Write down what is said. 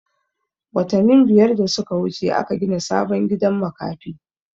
Watanin biyar da suka wuce aka gina sabon gidan makafi